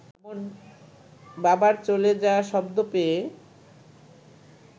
বাবার চলে যাওয়া শব্দ পেয়ে